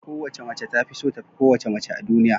ko wace mace tafiso tafi kowace mace a duniya